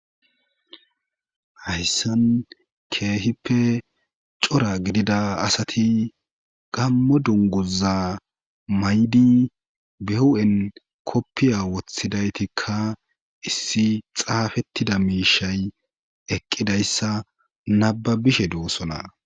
hayssan keehippe cora gidida asati gammo dunguza may7di behu7en koppiya woththidaytikka issi xaafettida miishay eqqidayssa nababishe doossona